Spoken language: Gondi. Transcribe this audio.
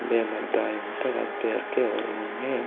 बे मद दायमुत्तोर अद पेरके और मुन्ने --